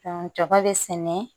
jɔba bɛ sɛnɛ